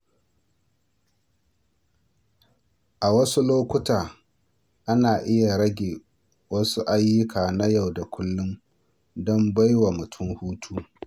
A wasu lokuta, ana iya rage wasu ayyuka na yau da kullum don bai wa mutum hutu.